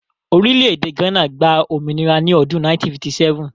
Orílẹ̀-èdè Ghana gba òmìnira ní ọdún 1957.